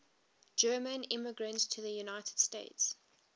german immigrants to the united states